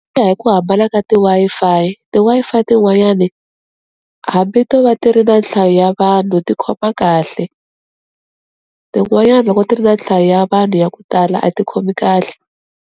Ku ya hi ku hambana ka ti Wi-Fi, ti Wi-Fi tin'wanyani hambi to va ti ri na nhlayo ya vanhu ti khoma kahle tin'wanyani loko ti ri na nhlayo ya vanhu ya ku tala a ti khomi kahle.